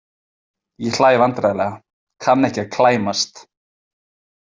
Ég hlæ vandræðalega, kann ekki að klæmast.